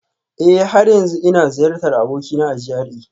Eh, har yanzu ina ziyartar abokina a GRA